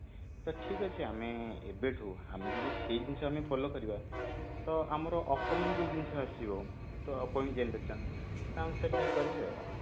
ତ ଠିକ ଅଛି ଆମେ ଏବେଠୁ ଆମେ ଯଦି ସେଇ ଜିନିଷ ଟାକୁ follow କରିବା ତ ଆମର upcoming ଯୋଉ ଜିନିଷ ଟା ଆସିବ ତ upcomimg generation ତା ଅନୁସାରେ ଠିକ କରିବେ